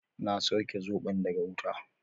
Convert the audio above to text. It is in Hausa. Na sauke zobon daga wuta